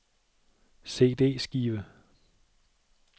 CD-skive